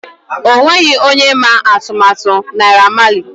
O nweghị onye ma atụmatụ Naira Marleys.